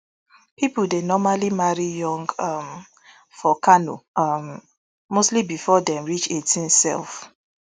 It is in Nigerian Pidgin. pipo dey normally marry young um for kano um mostly bifor dem reach eighteen sef